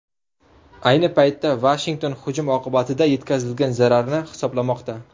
Ayni paytda Vashington hujum oqibatida yetkazilgan zararni hisoblamoqda .